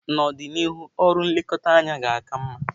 N'ọdịnihu, ọrụ nlekọta anya ga-aka mma.